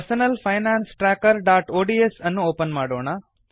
personal finance tracker ODS ಅನ್ನು open ಮಾಡೋಣ